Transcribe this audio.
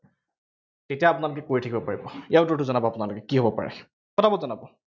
এতিয়া আপোনালোকে কৰিব থাকিব পাৰিব, ইয়াৰ উত্তৰটো জনাব আপোনালোকে, কি হব পাৰে, পটাপট জনাব